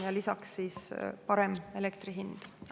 Ja lisaks siis ka parem elektri hind.